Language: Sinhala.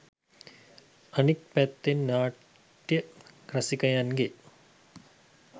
අනිත් පැත්තෙන් නාට්‍ය රසිකයන්ගේ